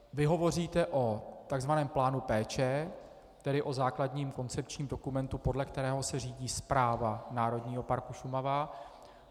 Vy hovoříte o tzv. plánu péče, tedy o základním koncepčním dokumentu, podle kterého se řídí správa Národního parku Šumava.